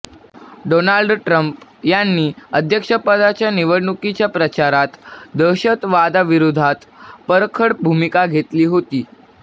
Donald Trump यांनी अध्यक्षपदाच्या निवडणुकीच्या प्रचारात दहशतवादाविरोधात परखड भूमिका घेतली होती